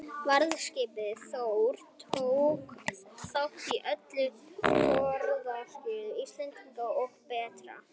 Varðskipið Þór tók þátt í öllum þorskastríðum Íslendinga og Breta.